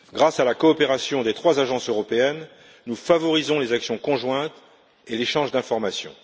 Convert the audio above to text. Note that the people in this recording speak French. Grâce à la coopération des trois agences européennes, nous favorisons les actions conjointes et l'échange d'informations.